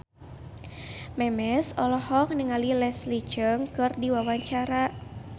Memes olohok ningali Leslie Cheung keur diwawancara